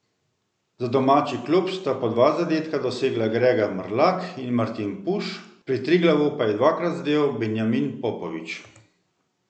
Za domači klub sta po dva zadetka dosegla Grega Mrlak in Martin Puš, pri Triglavu pa je dvakrat zadel Benjamin Popovič.